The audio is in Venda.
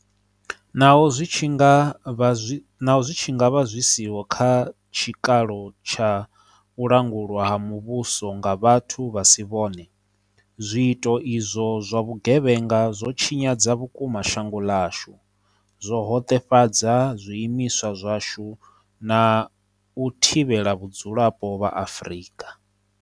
Naho zwi tshi nga vha zwi siho kha tshikalo tsha u langulwa ha muvhuso nga vhathu vha si vhone, zwiito izwo zwa vhugevhenga zwo tshinyadza vhukuma shango ḽashu, zwo hoṱefhadza zwii miswa zwashu na u thivhela vhadzulapo vha Afrika.